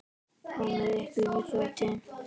Komiði ykkur í fötin.